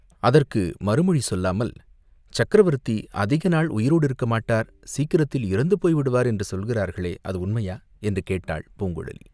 அதற்கு மறுமொழி சொல்லாமல், "சக்கரவர்த்தி அதிக நாள் உயிரோடிருக்க மாட்டார், சீக்கிரத்தில் இறந்துபோய் விடுவார் என்று சொல்கிறார்களே, அது உண்மையா?" என்று கேட்டாள் பூங்குழலி.